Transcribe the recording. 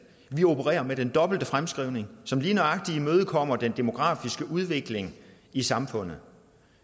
vi opererer med den dobbelte fremskrivning som lige nøjagtig imødekommer den demografiske udvikling i samfundet